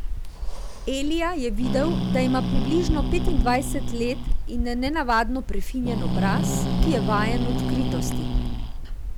Elija je videl, da ima približno petindvajset let in nenavadno prefinjen obraz, ki je vajen odkritosti.